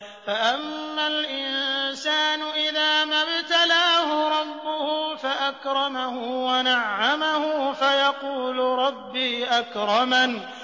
فَأَمَّا الْإِنسَانُ إِذَا مَا ابْتَلَاهُ رَبُّهُ فَأَكْرَمَهُ وَنَعَّمَهُ فَيَقُولُ رَبِّي أَكْرَمَنِ